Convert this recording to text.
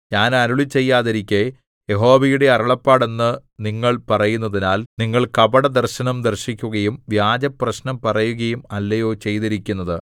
ഞാൻ അരുളിച്ചെയ്യാതിരിക്കെ യഹോവയുടെ അരുളപ്പാട് എന്ന് നിങ്ങൾ പറയുന്നതിനാൽ നിങ്ങൾ കപടദർശനം ദർശിക്കുകയും വ്യാജപ്രശ്നം പറയുകയും അല്ലയോ ചെയ്തിരിക്കുന്നത്